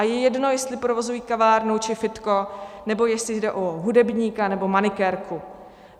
A je jedno, jestli provozují kavárnu či fitko nebo jestli jde o hudebníka nebo manikérku.